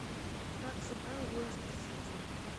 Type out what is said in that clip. как сыграл лестер сити